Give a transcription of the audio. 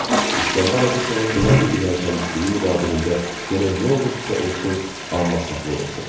İskəndər Abuşovun belə bir ürək təmizliyi müqabilində gərək nə olurdu-sa olsun, amma saflıq olsun.